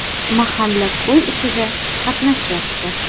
Mahalla-ko‘y ishida qatnashyapti.